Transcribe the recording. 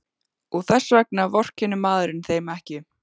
Og þess vegna vorkennir maður þeim ekki.